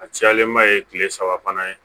A cayalenba ye kile saba fana ye